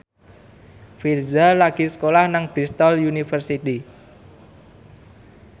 Virzha lagi sekolah nang Bristol university